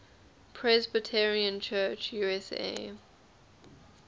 presbyterian church usa